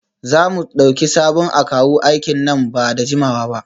Za mu dauki sabon akawu aiki nan ba da jimawa ba?